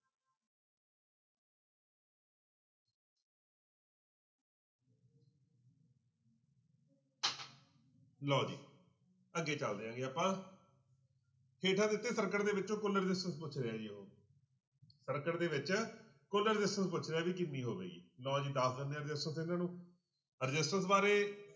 ਲਓ ਜੀ ਅੱਗੇ ਚੱਲਦੇ ਆਪਾਂ ਹੇਠਾਂ ਦਿੱਤੇ circuit ਦੇ ਵਿੱਚੋਂ ਕੁੱਲ resistance ਪੁੱਛ ਰਿਹਾ ਜੀ ਉਹ circuit ਦੇ ਵਿੱਚ ਕੁੱਲ resistance ਪੁੱਛ ਰਿਹਾ ਵੀ ਕਿੰਨੀ ਹੋਵੇਗੀ ਲਓ ਜੀ ਦੱਸ ਦਿਨੇ resistance ਇਹਨਾਂ ਨੂੰ resistance ਬਾਰੇ